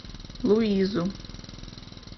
луизу